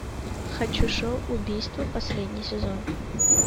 хочу шоу убийство последний сезон